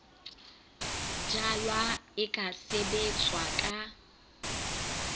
jalwa e ka sebetswa ka